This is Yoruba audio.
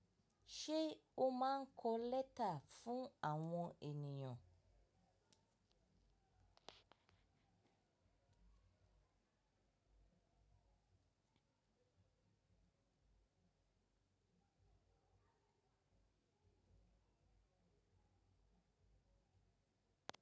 Ṣé o máa ń kọ lẹ́tà fún àwọn ènìyàn?